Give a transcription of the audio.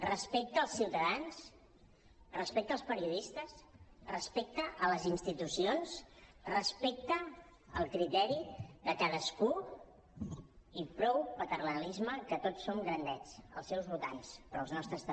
respecte als ciutadans respecte als periodistes respecte a les institucions respecte al criteri de cadascú i prou paternalisme que tots som grandets els seus votants però els nostres també